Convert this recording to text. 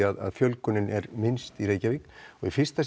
að fjölgunin er minnst í Reykjavík og í fyrsta